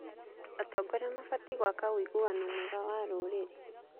Atongoria mabatiĩ gwaka ũiguano mwega na rũrĩrĩ.